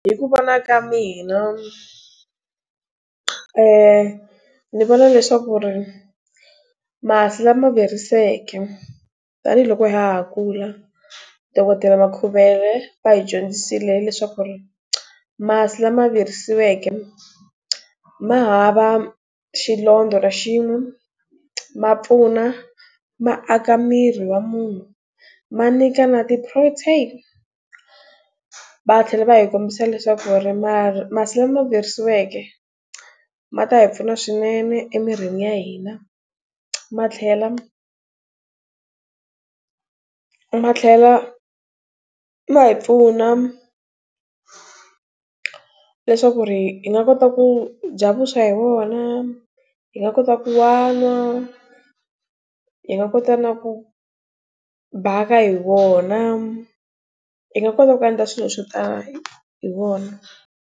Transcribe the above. Hi ku vona ka mina, ni vona leswaku ri, masi lama virisiweke, tanihiloko ha ha kula, dokodela Makhuvele va hi dyondzisile hileswaku ri masi lama virisiweke ma hava xilondza ra xin'we, ma pfuna, ma aka mirhi wa munhu, ma nyika na ti-protein. Va tlhela va hi kombisa leswaku ri masi lama virisiweke, ma ta hi pfuna swinene emirhini ya hina. Ma tlhela, ma tlhela, ma hi pfuna leswaku ri nga kota ku bya vuswa hi wona, hi nga kota ku wa n'wa, hi nga kota na ku bhaka hi wona, hi nga kota ku endla swilo swo tala hi wona.